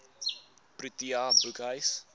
protea boekhuis